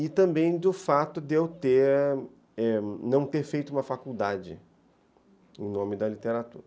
E também do fato de eu não ter feito uma faculdade em nome da literatura.